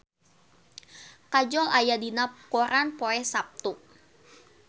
Kajol aya dina koran poe Saptu